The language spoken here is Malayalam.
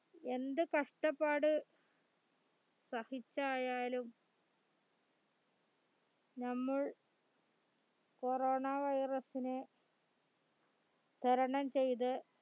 എന്ത് കഷ്ട്ടപാട് സഹിച്ചായാലും നമ്മൾ corona virus നെ തരണം ചെയ്ത്